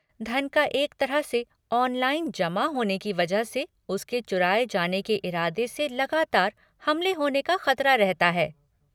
धन का एक तरह से 'ऑनलाइन' जमा होने की वजह से उसके चुराये जाने के इरादे से लगातार हमले होने का ख़तरा रहता है।